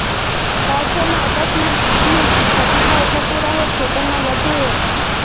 રાજ્યમાં અકસ્માતની ઘટનાઓ થતી રહે છે તેમાં વધુ એક